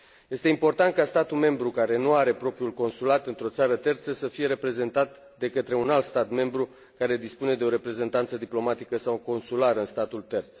Este important ca statul membru care nu are propriul consulat într o țară terță să fie reprezentat de către un alt stat membru care dispune de o reprezentanță diplomatică sau consulară în statul terț.